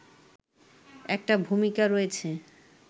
একটা ভূমিকা রয়েছে